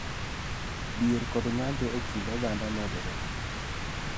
Dhier kod ng�anjo e kind oganda medore